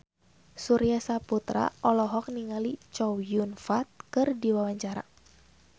Surya Saputra olohok ningali Chow Yun Fat keur diwawancara